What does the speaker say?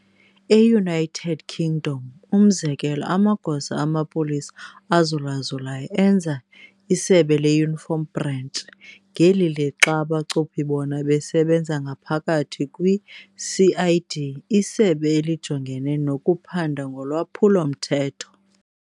E-United Kingdom, umzekelo, amagosa amapolisa azulazulayo enza "isebe le-uniform branch", ngeli lixa abachuphi bona besebenza ngaphakathi kwi-CID, "Isebe elijongene nokuphanda ngolwaphulo mthetho".